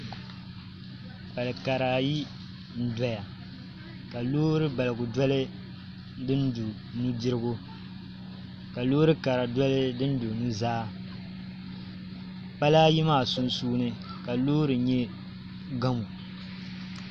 Pali kara ayi n doya ka loori baligu doli din do nudirigu ka loori kara doli din do nuzaa pala ayi maa sunsuuni ka loori nyɛ gamo